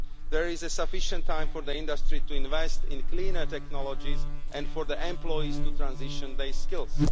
There is sufficient time for the industry to invest in cleaner technologies and for the employees to transition their skills.